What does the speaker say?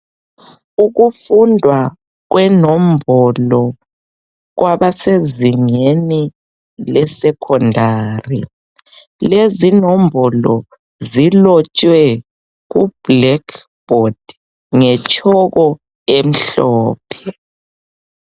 Ukufundwa kwenombolo kwabasezingeni lesecondary. Lezinombolo zilotshwe kublackboard ngetshoko emhlophe.